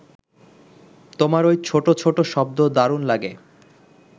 তোমার ওই ছোট ছোট শব্দ দারুণ লাগে